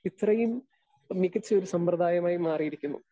Speaker 2 ഇത്രയും മികച്ചൊരു സമ്പ്രദായമായി മാറിയിരിക്കുന്നു.